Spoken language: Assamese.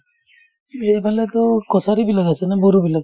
এইফালেতো কছাৰীবিলাক আছে নে বড়োবিলাক ?